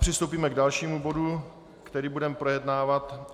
Přistoupíme k dalšímu bodu, který budeme projednávat.